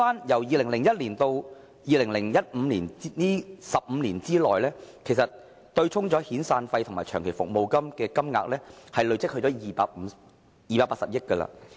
從2001年至2015年這15年內，被對沖的遣散費和長期服務金金額已累積至280億元。